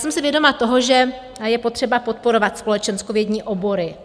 Jsem si vědoma toho, že je potřeba podporovat společenskovědní obory.